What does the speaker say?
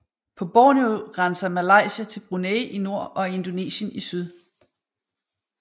På Borneo grænser Malaysia til Brunei i nord og Indonesien i syd